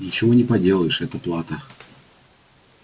ничего не поделаешь это плата